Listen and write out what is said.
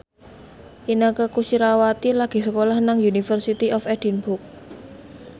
Inneke Koesherawati lagi sekolah nang University of Edinburgh